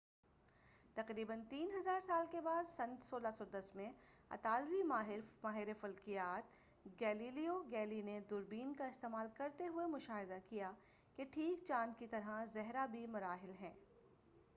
تقریبا تین ہزار سال کے بعد سن 1610 میں اطالوی ماہر فلکیات گیلیلیو گیلیلی نے دوربین کا استعمال کرتے ہوئے مشاہدہ کیا کہ ٹھیک چاند کی طرح زہرہ کے بھی مراحل ہیں